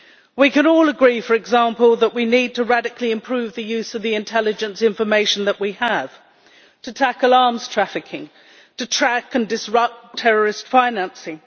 We can all agree, for example, that we need to radically improve the use of the intelligence information that we have, to tackle arms trafficking, and to track and disrupt terrorist financing.